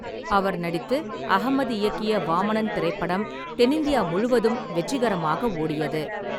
அவர் நடித்து அகமது இயக்கிய வாமனன் திரைப்படம் தென்னிந்தியா முழுவதும் வெற்றிகரமாக ஓடியது.